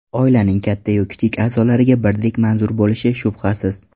Oilaning katta-yu kichik a’zolariga birdek manzur bo‘lishi shubhasiz.